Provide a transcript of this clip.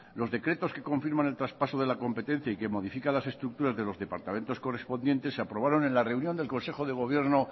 los decretos que confirman el traspaso de la competencia y que modifica las estructuras de los departamentos correspondientes se aprobaron en la reunión del consejo de gobierno